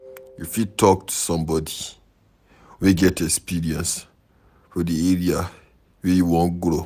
You fit talk to somebody wey get experience for di area wey you wan grow